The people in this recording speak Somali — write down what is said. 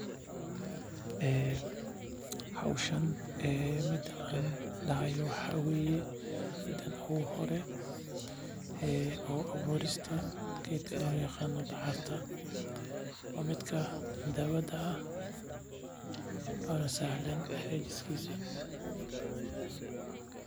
Howshan mid aan dahaayo waxa waye mida uhore abuurista geedka loo yaqaano dacarta waa mid sahlan abuuristisa.